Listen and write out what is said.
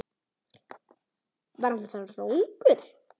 Hann er þá svona ungur.